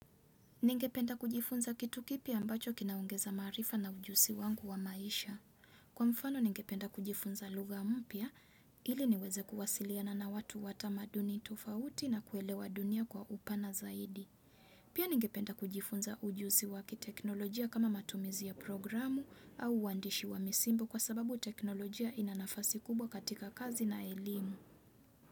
Ningependa kujifunza kitu kipya ambacho kinaongeza maarifa na ujusi wangu wa maisha. Kwa mfano ningependa kujifunza lugha mpya ili niweze kuwasiliana na watu wa tamaduni tofauti na kuelewa dunia kwa upana zaidi. Pia ningependa kujifunza ujusi wa kiteknolojia kama matumizi ya programu au uandishi wa misimbo kwa sababu teknolojia ina nafasi kubwa katika kazi na elimu.